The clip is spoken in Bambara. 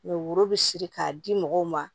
woro be siri k'a di mɔgɔw ma